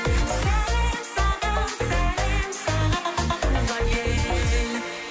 сәлем саған сәлем саған туған ел